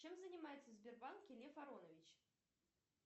чем занимается в сбербанке лев аронович